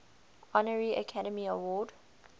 honorary academy award